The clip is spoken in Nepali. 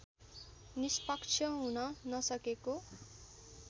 निष्पक्ष हुन नसकेको